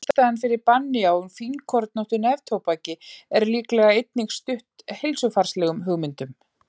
Ástæðan fyrir banni á fínkornóttu neftóbaki er líklega einnig stutt heilsufarslegum hugmyndum.